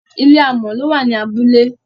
ilé amò ló wà ní abúlé